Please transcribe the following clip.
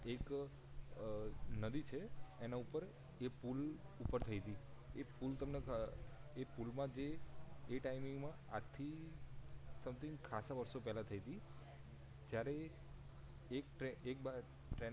એક નદી છે એના ઉપર એ પુલ ઉપર થઈ તી એ પુલ તમને એ પુલ માં જે એ ટાયમિંગ માં આજ થી સુમથિંક ખાંસા વર્ષો પેલા થઈ તી જ્યારે એક ટ્રેન એક